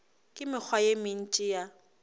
le mekgwa ye mentši ya